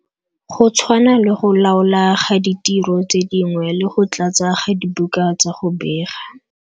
Go tshwana le go laola ga ditiro tse dingwe le go tlatsa ga dibuka tsa go bega.